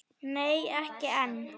Nei ekki enn.